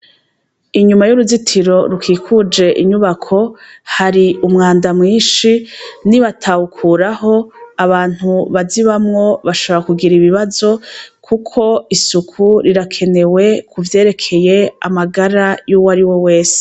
Inyuma y'uruzitiro rukikuje inyubako hari umwanda mwinshi, ni batawukuraho abantu bazibamwo bashobora kugira ibibazo kuko isuku rirakenewe kuvyerekeye amagara y'uwariwe wese.